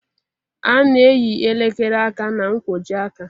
A na-eyi elekere aka na nkwojiaka